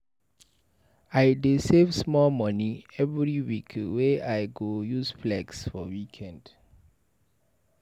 I dey save small moni every week wey I go use flex for weekend.